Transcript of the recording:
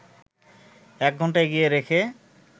একঘন্টা এগিয়ে রেখে